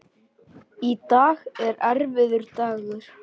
Í dag er erfiður dagur.